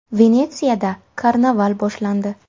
Venetsiyada karnaval boshlandi.